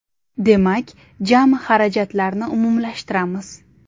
Demak, jami xarajatlarni umumlashtiramiz.